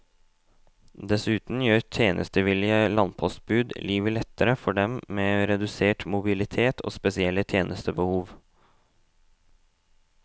Dessuten gjør tjenestevillige landpostbud livet lettere for dem med redusert mobilitet og spesielle tjenestebehov.